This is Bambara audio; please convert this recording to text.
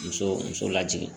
Muso muso lajigi